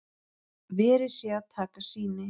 Verið sé að taka sýni